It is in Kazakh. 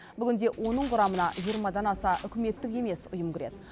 бүгінде оның құрамына жиырмадан аса үкіметтік емес ұйым кіреді